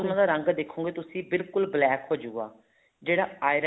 ਉਹਨਾ ਦਾ ਰੰਗ ਦੇਖੋਗੇ ਤੁਸੀਂ ਬਿਲਕੁਲ black ਹੋਜੂਗਾ ਜਿਹੜਾ iron